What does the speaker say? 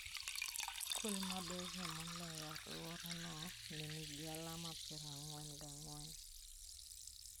Skul maberie moloyo e alworano ne nigi alama piero ang'wen gang'wen.